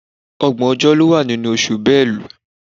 Ọgbọ̀n ọjọ́ ló wà nínú oṣù Bélú